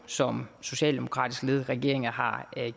som socialdemokratisk ledede regeringer har